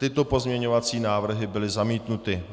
Tyto pozměňovací návrhy byly zamítnuty.